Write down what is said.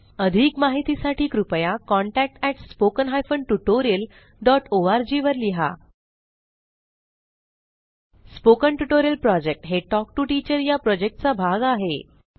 अधिक माहितीसाठी कृपया contact at spoken hyphen tutorial dot org वर लिहा स्पोकन ट्युटोरियल प्रॉजेक्ट हे टॉक टू टीचर या प्रॉजेक्टचा भाग आहे